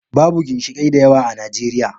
Babu ginshiƙai da yawa a Najeriya.